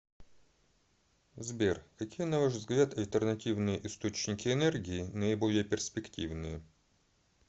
сбер какие на ваш взгляд альтернативные источники энергии наиболее перспективные